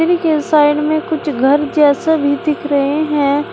के साइड में कुछ घर जैसा भी दिख रहे हैं।